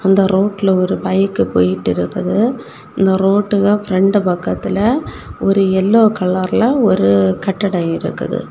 அந்த ரோட்ல ஒரு பைக் போய்ட்டு இருக்குது இந்த ரோட்ல பிரண்ட் பக்கத்துல ஒரு எல்லோ கலர்ல ஒரு கட்டிடம் இருக்குது.